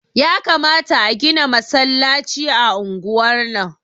Yakamata a gina masallaci a unguwar nan